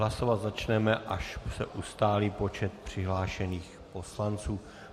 Hlasovat začneme, až se ustálí počet přihlášených poslanců.